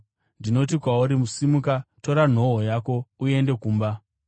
“Ndinoti kwauri, simuka, tora nhoo yako uende kumba.”